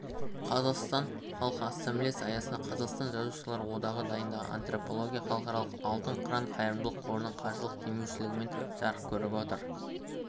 қазақстан халқы ассамблеясы аясында қазақстан жазушылар одағы дайындаған антология халықаралық алтын қыран қайырымдылық қорының қаржылық демеушілігімен жарық көріп отыр